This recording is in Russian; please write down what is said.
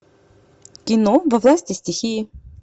кино во власти стихии